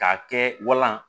K'a kɛ walan